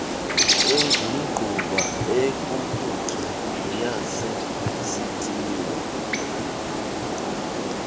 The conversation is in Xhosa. engumgquba ekukutya neyasesitiyeni